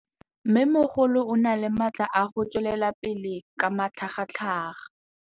Mmêmogolo o na le matla a go tswelela pele ka matlhagatlhaga.